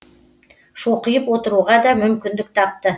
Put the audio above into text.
шоқиып отыруға да мүмкіндік тапты